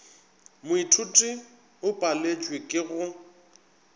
moithuti o paletšwe ke go